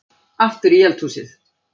Aftur í eldhúsið.